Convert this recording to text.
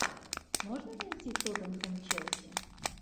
можно найти тоттенхэм челси